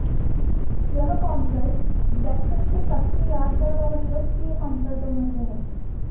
यह concert Jackson के सबसे यादगार और लोकप्रिय कॉन्सर्टों में से है